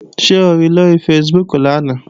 Ṣé o ri lóri Facebook lánàá?